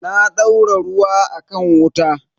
Na daura ruwa a kan wuta.